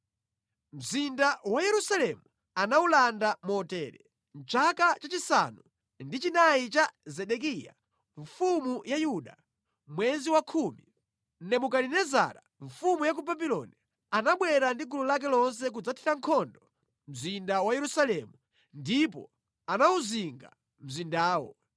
Mzinda wa Yerusalemu anawulanda motere: Mʼchaka chachisanu ndi chinayi cha Zedekiya mfumu ya Yuda, mwezi wakhumi, Nebukadinezara mfumu ya ku Babuloni anabwera ndi gulu lake lonse kudzathira nkhondo mzinda wa Yerusalemu ndipo anawuzinga mzindawo.